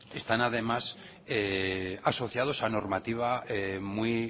están además asociados a normativa muy